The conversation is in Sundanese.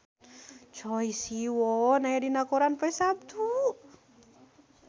Choi Siwon aya dina koran poe Saptu